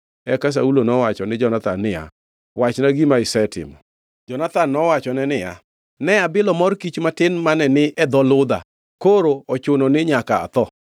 Eka Saulo nowacho ni Jonathan niya, “Wachna gima isetimo.” Jonathan nowachone niya, “Ne abilo mor kich matin mane ni e dho ludha. Koro ochuno ni nyaka atho?”